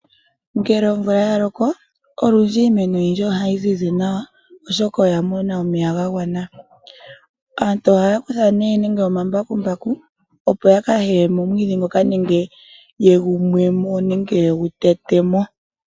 Ngele omvula yaloko , iimeno ohayi zizi nawa molwaashoka oyamona omuloka omwaanawa. Ngele aanafaalama yahala ehala lyuunamapya nuuniimuna nenge oondima dhatameka ohaa kutha embakumbaku lyokuteta omwiidhi. Ohali yelekepo omwiidhi.